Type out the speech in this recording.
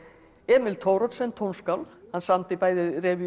Emil Thoroddsen tónskáld hann samdi bæði